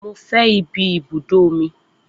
Mo fẹ́ ìbí ibùdó omi